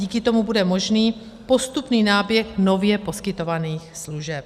Díky tomu bude možný postupný náběh nově poskytovaných služeb.